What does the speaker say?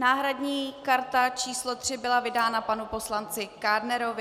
Náhradní karta číslo 3 byla vydána panu poslanci Kádnerovi.